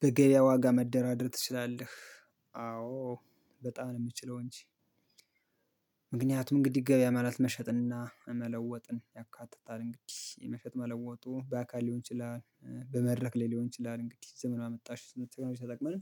በገበያ ዋጋ መደራደር ትችላለህ አዎ በጣም ነው የምችለው እንጂ። ምክንያቱም እንግዲህ ገበያ ማለት መሸጥና መለወጥን ያካትታል እንግዲህ የመሸጥ መለወጡ በአካል ሊሆን ይችላል። በመድረክ ላይ ሊሆን ይችላል እንግዲህ ዘመን አመጣሽ መኪናዎች ተጠቅመን